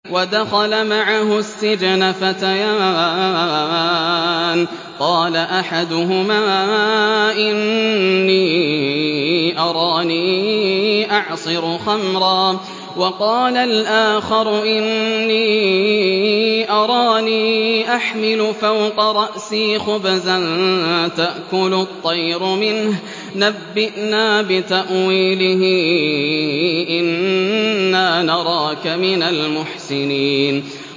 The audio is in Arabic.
وَدَخَلَ مَعَهُ السِّجْنَ فَتَيَانِ ۖ قَالَ أَحَدُهُمَا إِنِّي أَرَانِي أَعْصِرُ خَمْرًا ۖ وَقَالَ الْآخَرُ إِنِّي أَرَانِي أَحْمِلُ فَوْقَ رَأْسِي خُبْزًا تَأْكُلُ الطَّيْرُ مِنْهُ ۖ نَبِّئْنَا بِتَأْوِيلِهِ ۖ إِنَّا نَرَاكَ مِنَ الْمُحْسِنِينَ